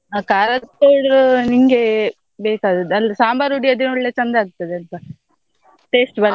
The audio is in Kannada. ಹ ಖಾರದ್ powder ನಿನ್ಗೆ ಬೇಕಾದದ್ದು ಅಂದ್ರೆ ಸಾಂಬಾರ್ ಹುಡಿ ಅದೆ ಒಳ್ಳೆ ಚಂದ ಆಗ್ತದೆ ಅಂತ taste ಬರ್ತದೆ.